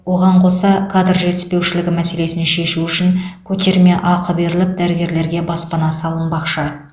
оған қоса кадр жетіспеушілігі мәселесін шешу үшін көтерме ақы беріліп дәрігерлерге баспана салынбақшы